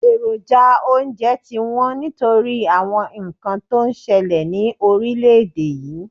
Èròjà oúnje ti wón nítorí àwon nkan to n selè ni orílé èdè yi